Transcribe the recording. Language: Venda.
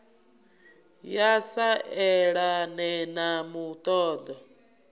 ya sa elane na muṱoḓo